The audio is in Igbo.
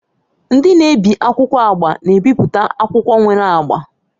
Ndị na-ebi akwụkwọ agba na-ebipụta akwụkwọ nwere agba.